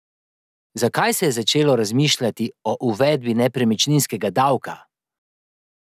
Zakaj se je začelo razmišljati o uvedbi nepremičninskega davka?